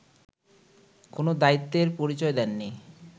কোন দায়িত্বের পরিচয় দেননি